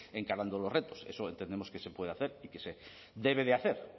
encarando los retos eso entendemos que se puede hacer y que se debe de hacer